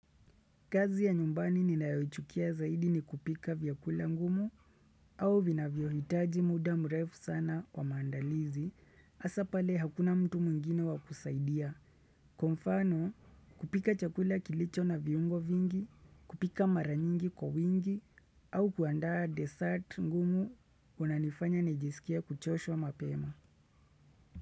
Kazi ya nyumbani ninayoichukia zaidi ni kupika vyakula ngumu au vinavyohitaji muda mrefu sana wa maandalizi hasa pale hakuna mtu mwingine wa kusaidia. Kwa mfano kupika chakula kilicho na viungo vingi, kupika mara nyingi kwa wingi au kuandaa dessert ngumu kunanifanya nijisikie kuchoshwa mapema.